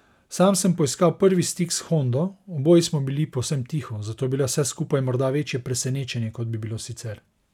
Sam sem poiskal prvi stik s Hondo, oboji smo bili povsem tiho, zato je bilo vse skupaj morda večje presenečenje, kot bi bilo sicer.